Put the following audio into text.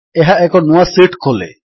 ଏହା ଏକ ନୂଆ ଶୀଟ୍ ଖୋଲେ